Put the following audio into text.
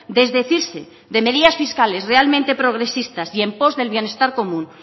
desdecirse de medidas fiscales realmente progresistas y en post del bienestar común